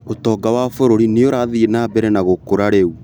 ũtonga wa bũrũri nĩurathiĩ na mbere na gũkũra rĩu